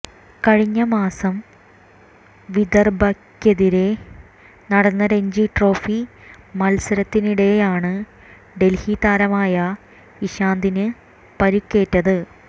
കഴിഞ്ഞ മാസം വിദർഭയ്ക്കെതിരെ നടന്ന രഞ്ജി ട്രോഫി മത്സരത്തിനിടെയാണ് ഡൽഹി താരമായ ഇഷാന്തിന് പരുക്കേറ്റത്